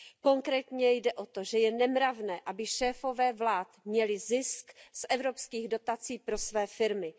Konkrétně jde o to, že je nemravné, aby šéfové vlád měli zisk z evropských dotací pro své firmy.